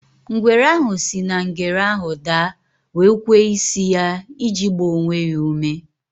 Ngwere ahụ si na ngere ahụ daa wee kwee isi ya iji gbaa onwe ya ume.